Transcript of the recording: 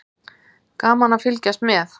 Gaman að fylgjast með.